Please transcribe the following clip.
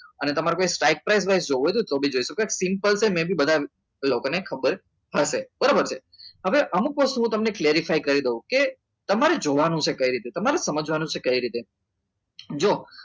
અને તમારે try price જોવું હોય તો તમે જોઈ શકો simple છે બધા લોકોને ખબર હશે બરાબર છે હવે અમુક વસ્તુ હું તમને clearly કરી દઉં કે તમારે જોવાનું કઈ રીતના તમારે સમજવાનું છે કઈ રીતના જો